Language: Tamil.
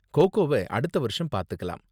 கோகோவ அடுத்த வருஷம் பாத்துக்கலாம்.